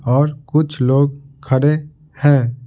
और कुछ लोग खड़े हैं।